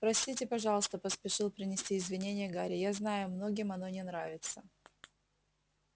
простите пожалуйста поспешил принести извинения гарри я знаю многим оно не нравится